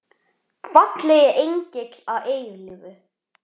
Fallegi engill að eilífu.